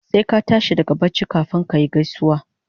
Sai ka tashi daga bacci kafun kayi gaisuwa